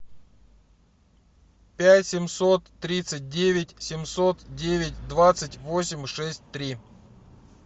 пять семьсот тридцать девять семьсот девять двадцать восемь шесть три